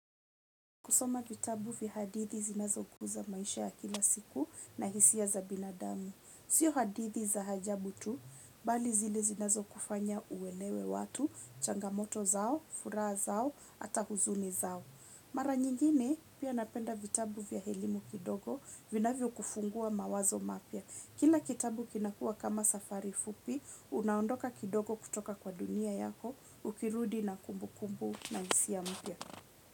Kusoma vitabu vya hadithi zinazokuza maisha ya kila siku na hisia za binadamu sio hadithi za ajabu tu bali zile zinazo kufanya uelewe watu changamoto zao furaha zao hatu huzuni zao. Mara nyingine, pia napenda vitabu vya elimu kidogo, vina vio kufungua mawazo mapya. Kila kitabu kinakua kama safari fupi, unaondoka kidogo kutoka kwa dunia yako, ukirudi na kumbu kumbu na hisia mpya.